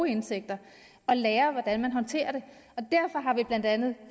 indtægter at lære hvordan man håndterer det derfor har vi blandt andet